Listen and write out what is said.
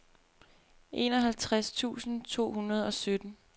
enoghalvtreds tusind to hundrede og sytten